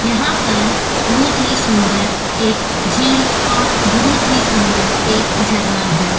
यहाँ पर बहुत ही सुन्दर एक झील और बहुत ही सुन्दर एक झरना हैं।